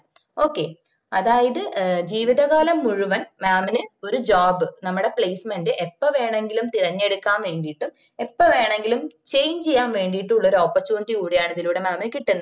okay അതായത്ജീ വിത കാലം മുഴുവൻ mam ന് ഒര് job നമ്മടെ placement എപ്പ വേണെങ്കിൽ തിരഞ്ഞെടുക്കാൻ വേണ്ടിട്ട് എപ്പ വേണമെങ്കിലും change ചെയ്യാന് വേണ്ടീട്ടുള്ള ഒര് opportunity കൂടി ആണ് ഇതിലൂടെ mam ന് കിട്ടുന്നത്